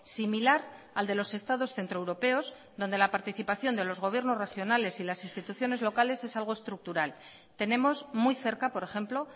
similar al de los estados centroeuropeos donde la participación de los gobiernos regionales y las instituciones locales es algo estructural tenemos muy cerca por ejemplo